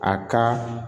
A ka